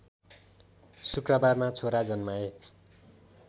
शुक्रबारमा छोरा जन्माए